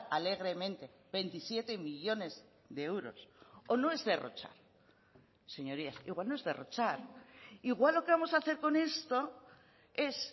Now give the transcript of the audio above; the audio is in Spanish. alegremente veintisiete millónes de euros o no es derrochar señorías igual no es derrochar igual lo que vamos a hacer con esto es